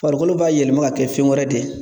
Farikolo b'a yɛlɛma ka kɛ fɛn wɛrɛ de ye.